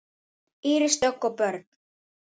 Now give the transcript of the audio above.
Íris Dögg og börn.